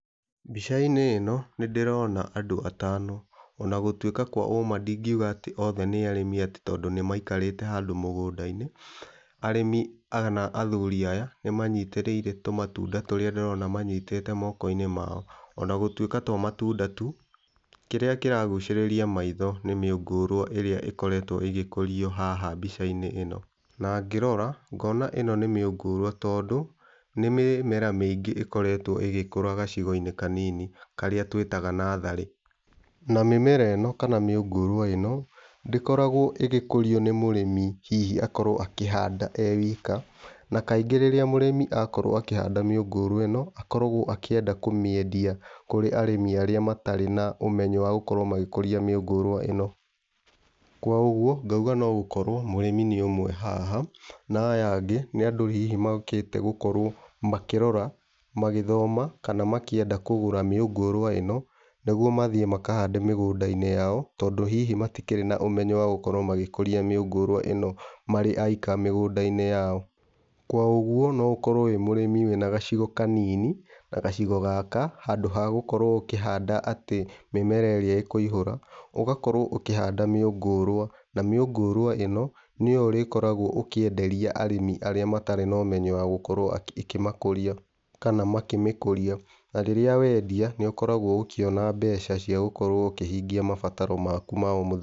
Mbica-inĩ ĩno nĩndĩrona andũ atano, ona gũtuĩka kwa ũma ndingiuga atĩ othe nĩ arĩmi atĩ tondũ nĩmaikarĩte handũ mũganda-inĩ, arĩmi kana athuri aya nĩmanyitĩrĩire tũmatunda tũrĩa ndĩrona manyitĩte moko-inĩ mao, ona gũtuĩka to matunda tu, kĩrĩa kĩragucĩrĩria maitho nĩ mĩũngũrwa ĩrĩa ĩkoretwo ĩgĩkũrio haha mbica-inĩ ĩno. Na ngĩrora ngona ĩno nĩ mĩũngũrwa, tondũ nĩ mĩmera mĩingĩ ĩkoretwo ĩgĩkũra gacigo-inĩ kanini karĩa twĩtaga natharĩ. Na mĩmera ĩno kana mĩũngũrwa ĩno ndĩkoragwo ĩgĩkũrio nĩ mũrĩmi hihi akorwo akĩhanda e wika, na kaingĩ rĩrĩa mũrĩmi akorwo akĩhanda mĩũngũrwa ĩno akoragwo akĩenda kũmĩendia kũrĩ arĩmi arĩa matarĩ na ũmenyo wa gũkorwo magĩkuria mĩũngũrwa ĩno. Kwa ũguo ngauga no gũkorwo mũrĩmi nĩ ũmwe haha, na aya angĩ nĩ andũ hihi mokĩte gũkorwo, makĩrora , magĩthoma kana makĩenda kũgũra mĩũngũrwa ĩno, nĩguo mathĩe makahande mĩgũnda-inĩ yao tondũ hihi matikĩrĩ na ũmenyo wa gũkorwo magĩkũria mĩũngũrwa ĩno marĩ aika mĩgũnda-inĩ yao. Kwa ũguo, no ũkorwo wĩ mũrĩmi wĩna gacigo kanini na gacigo gaka handũ ha gũkorwo ũkĩhanda atĩ mĩmera ĩrĩa ĩkũihũra, ũgakorwo ũkĩhanda mĩũngũrwa, na mĩũngũrwa ĩno nĩyo ũrĩkoragwo ũkĩenderia arĩmi arĩa matarĩ na ũmenyo wa gũkorwo ĩkĩmakũria, kana makĩmĩkũria, na rĩrĩa wendia nĩũkoragwo ũkĩona mbeca cia gũkorwo ũkĩhingia mabataro maku ma o mũthenya.